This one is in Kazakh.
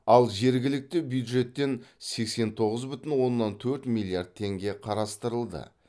ал жергілікті бюджеттен сексен тоғыз бүтін оннан төрт миллиард теңге қарастырылды